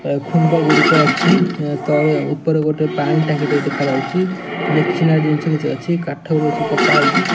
ଏ ଖୁମ୍ବ ଗୁଡ଼ିକ ଅଛି। ଓ ତଳେ ଉପରେ ଗୋଟେ ପାଣି ଟାଙ୍କି ଟେ ଦେଖାଯାଉଚି। ମେସିନାରୀ ଜିନିଷ କିଛି ଅଛି। କାଠ ବି ଅଛି। କଟା ହେଇକି --